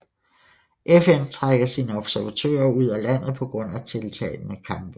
FN trækker sine observatører ud af landet på grund af tiltagende kampe